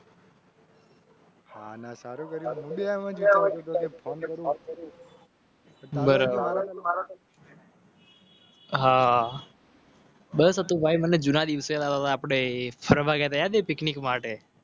હા બસ હતું ભાઈ મને જૂના દિવસે આપળે ફરવા ગયા હતા યાદ હ Three, Picnic માટે